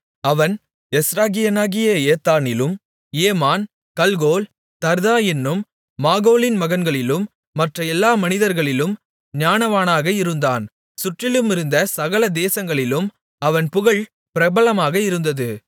அவன் எஸ்ராகியனாகிய ஏத்தானிலும் ஏமான் கல்கோல் தர்தா என்னும் மாகோலின் மகன்களிலும் மற்ற எல்லா மனிதர்களிலும் ஞானவானாக இருந்தான் சுற்றிலும் இருந்த சகல தேசங்களிலும் அவன் புகழ் பிரபலமாக இருந்தது